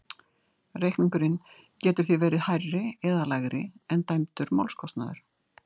Reikningurinn getur því verið hærri eða lægri en dæmdur málskostnaður.